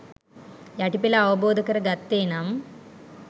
යටි පෙළ අවබෝධ කර ගත්තේ නම්